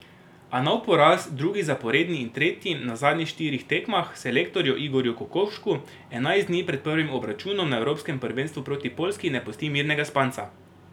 A nov poraz, drugi zaporedni in tretji na zadnjih štirih tekmah, selektorju Igorju Kokoškovu enajst dni pred prvim obračunom na evropskem prvenstvu proti Poljski ne pusti mirnega spanca.